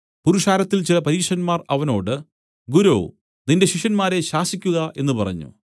പുരുഷാരത്തിൽ ചില പരീശന്മാർ അവനോട് ഗുരോ നിന്റെ ശിഷ്യന്മാരെ ശാസിക്കുക എന്നു പറഞ്ഞു